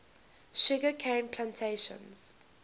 sugar cane plantations